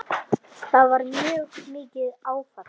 Það var mjög mikið áfall.